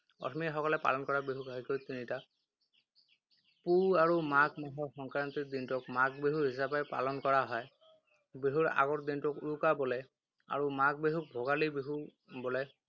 অসমীয়াসকলে পালন কৰা বিহু ঘাইকৈ তিনিটা। পুহ আৰু মাঘ মাহৰ সংক্ৰান্তিৰ দিনটোক মাঘ বিহু হিচাপে পালন কৰা হয়। বিহুৰ আগৰ দিনটোক উৰুকা বোলে। আৰু মাঘ বিহুক ভোগালী বিহু বোলে।